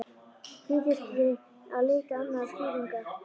Því þurfti að leita annarra skýringa.